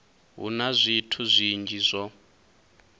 hu na zwithu zwinzhi zwo